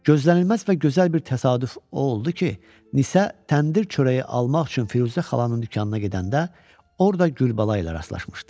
Gözlənilməz və gözəl bir təsadüf o oldu ki, Nisə təndir çörəyi almaq üçün Firuzə xalanın dükanına gedəndə orda Gülbala ilə rastlaşmışdı.